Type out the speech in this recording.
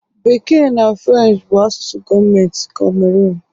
Bekee na French bụ asụsụ gọọmentị Cameroon